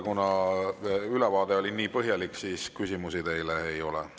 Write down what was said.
Kuna ülevaade oli nii põhjalik, siis küsimusi teile ei ole.